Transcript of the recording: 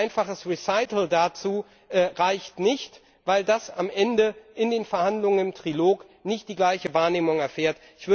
Ein einfacher Erwägungsgrund dazu reicht nicht, weil das am Ende in den Verhandlungen im Trilog nicht die gleiche Wahrnehmung erfährt.